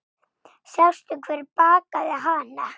Sástu hver bakaði hana?